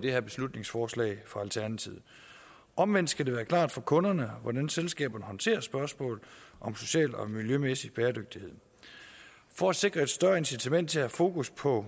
det her beslutningsforslag fra alternativet omvendt skal det være klart for kunderne hvordan selskaberne håndterer spørgsmål om social og miljømæssig bæredygtighed for at sikre et større incitament til at have fokus på